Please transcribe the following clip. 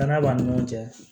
Danaya b'an ni ɲɔgɔn cɛ